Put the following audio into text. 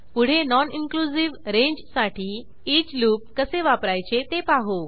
पुढे non inclusive रेंजसाठी each loop कसे वापरायचे ते पाहू